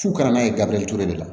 F'u ka na n'a ye gafe de la